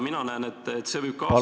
Mina näen, et see võib kaasa tuua ...